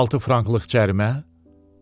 16 franklıq cərimə?